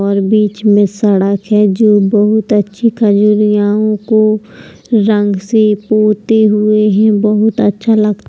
और बीच में सड़क है जो बहोत अच्छी रंग से पोते हुए है। बहोत अच्छा लगता --